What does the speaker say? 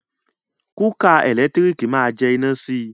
Kúkà ẹ̀lẹ́tírìkì ma jẹ iná si.